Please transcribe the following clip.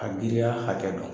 A giriya hakɛ dɔn.